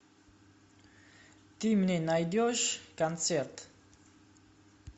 ты мне найдешь концерт